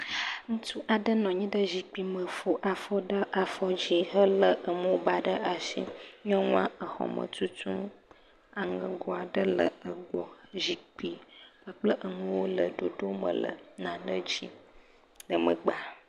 Ŋutsu aɖe nɔ anyi ɖe zikpime fɔ afɔ ɖe afɔdzi helé emɔbaa ɖe ashi. Nyɔnua exɔme tutum. Aŋɛgo aɖe le egbɔ. Zikpi kpakple enuwo le ɖoɖome le nane dzi le megbea.